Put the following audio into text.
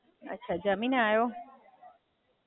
અચ્છા, જમીને આયો?